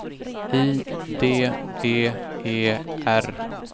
I D E E R